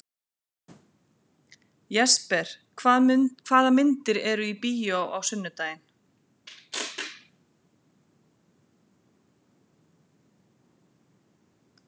Jesper, hvaða myndir eru í bíó á sunnudaginn?